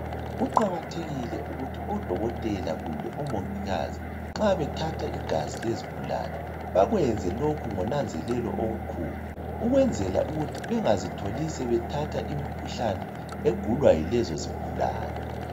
Kuqakathekile ukuthi odokotela kumbe omongikazi nxa bethatha igazi lezigulane bakwenze lokhu ngonanzelelo olukhulu ukwenzela ukuthi bengazitholi sebethatha imikhuhlane egulwa yilezo zigulane.